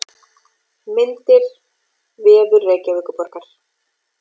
Myndir: Vefur Reykjavíkurborgar.